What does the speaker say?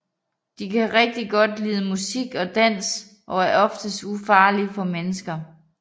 De kan rigtig godt lide musik og dans og er oftest ufarlige for mennesker